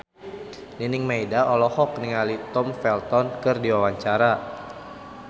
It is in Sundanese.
Nining Meida olohok ningali Tom Felton keur diwawancara